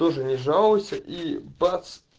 тоже не жалуйся и бац